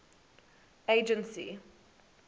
agency